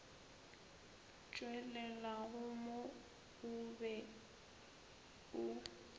tšwelelago mo o be o